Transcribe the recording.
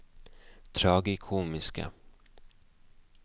tragikomiske